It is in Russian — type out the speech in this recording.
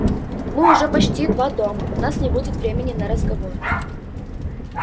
мы уже почти два дома у нас не будет времени на разговор